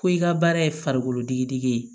Ko i ka baara ye farikolodigidigi ye